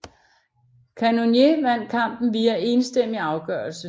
Cannonier vandt kampen via enstemmig afgørelse